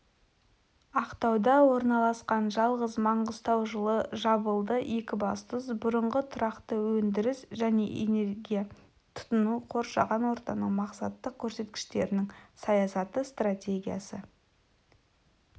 ақтауда орналасқан жалғыз маңғыстау жылы жабылды екібастұз бұрынғы тұрақты өндіріс және энергия тұтыну қоршаған ортаның мақсаттық көрсеткіштерінің саясаты стратегиясы